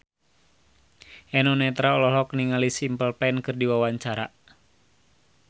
Eno Netral olohok ningali Simple Plan keur diwawancara